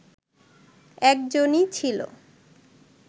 একজনই ছিল